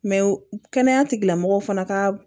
kɛnɛya tigilamɔgɔw fana ka